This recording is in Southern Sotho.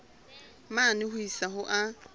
mane ho isa ho a